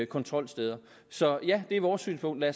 kontrolsteder så vores synspunkt er